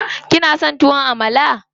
Kin son tuwon Amala?